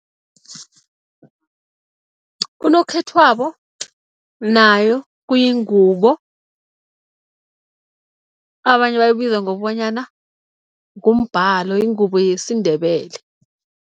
Unokhethwabo nayo kuyingubo abanye bayibiza ngokobanyana ngumbhalo, ingubo yesiNdebele.